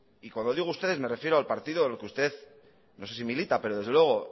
y cuando digo ustedes me refiero al partido en el que usted no sé si milita pero desde luego